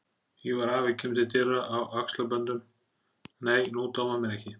Ívar afi kemur til dyra á axlaböndum: Nei, nú dámar mér ekki!